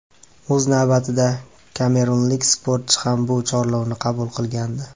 O‘z navbatida kamerunlik sportchi ham bu chorlovni qabul qilgandi.